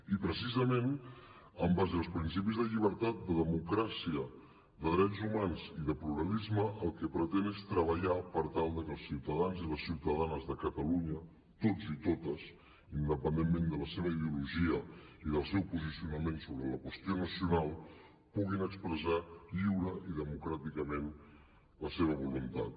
i precisament en base als principis de llibertat de democràcia de drets humans i de pluralisme el que pretén és treballar per tal que els ciutadans i les ciutadanes de catalunya tots i totes independentment de la seva ideologia i del seu posicionament sobre la qüestió nacional puguin expressar lliurement i democràticament la seva voluntat